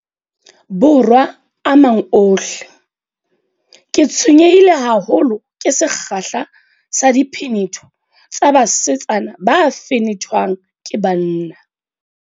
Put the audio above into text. Borwa a mang ohle, ke tshwenyehile haholo ke sekgahla sa diphenetho tsa basetsana ba fenethwang ke banna.